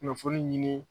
Kunnafoni ɲini